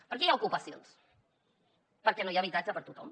per què hi ha ocupacions perquè no hi ha habitatge per a tothom